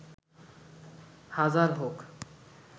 হাজার হোক